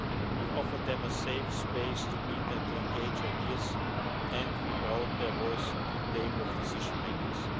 We offered them a safe space to meet and to engage ideas and we brought their voice to the table of decision makers.